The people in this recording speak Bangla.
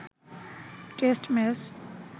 test match